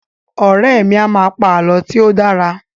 Ọ̀rẹ́ mi a máa pa àlọ́ tí ó dára